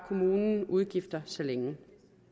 kommunen udgifter så længe